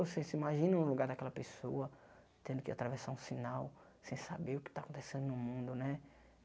Você se imagina no lugar daquela pessoa, tendo que atravessar um sinal, sem saber o que está acontecendo no mundo, né?